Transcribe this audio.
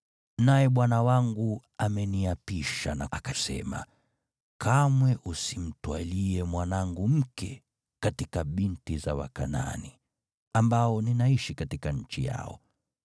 Naye bwana wangu ameniapisha na akasema, ‘Kamwe usimtwalie mwanangu mke katika binti za Wakanaani, ambao ninaishi katika nchi yao,